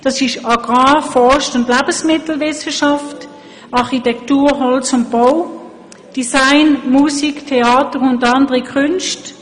Es sind dies Agrar-, Forst- und Lebensmittelwissenschaft; Architektur, Holz und Bau; Design, Musik, Theater und andere Künste;